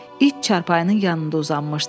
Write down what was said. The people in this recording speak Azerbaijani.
İt çarpayının yanında uzanmışdı.